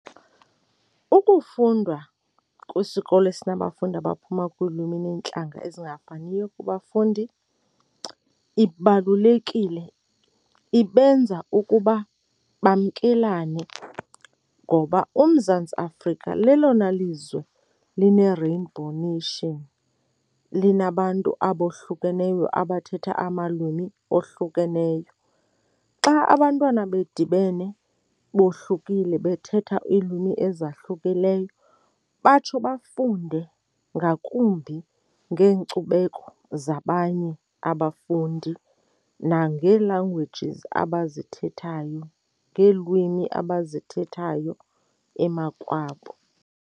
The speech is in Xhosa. Ukufundwa kwisikolo esinabafundi abaphuma kulwimi neentlanga ezingafaniyo kubafundi ibalulekile, ibenza ukuba bamkelane ngoba uMzantsi Afrika lelona lizwe lineRainbow Nation, linabantu abohlukeneyo abathetha amalwimi ohlukeneyo. Xa abantwana bedibene bohlulekile bethetha iilwimi ezahlukileyo, batsho bafunde ngakumbi ngeenkcubeko zabanye abafundi nangee-languages abazithethayo, ngeelwimi abazithethayo emakwabo.